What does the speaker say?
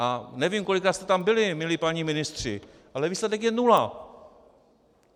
A nevím, kolikrát jste tam byli, milí páni ministři, ale výsledek je nula!